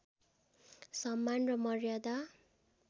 सम्मान र मर्यादा